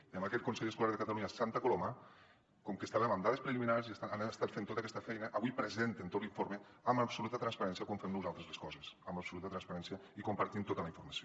i en aquest consell escolar de catalunya a santa coloma com que estàvem amb dades preliminars han estat fent tota aquesta feina avui presenten tot l’informe amb absoluta transparència com fem nosaltres les coses amb absoluta transparència i compartint ne tota la informació